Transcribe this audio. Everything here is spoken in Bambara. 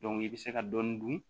i bɛ se ka dɔɔni dun